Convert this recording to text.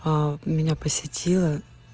а меня посетила